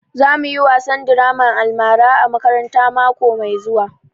Za mu yi wasan draman almara a makaranta mako mai zuwa